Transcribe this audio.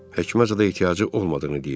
Həkimə zada ehtiyacı olmadığını deyib.